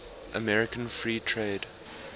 american free trade